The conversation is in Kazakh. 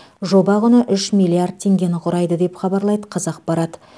жоба құны үш миллиард теңгені құрайды деп хабарлайды қазақпарат